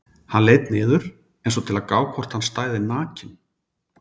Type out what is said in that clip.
Hann leit niður einsog til að gá hvort hann stæði nakinn.